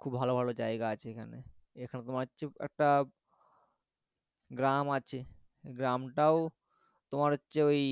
খুব ভালো ভালো জায়গা আছে এইখানে এইখানে তোমার চুপ একটা গ্রাম আছে গ্রামটাও তোমার হচ্ছে ওই